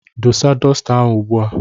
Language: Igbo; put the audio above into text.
Dosa dosita ahụ ugbu a!